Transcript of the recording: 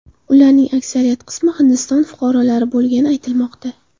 Ularning aksariyat qismi Hindiston fuqarolari bo‘lgani aytilmoqda.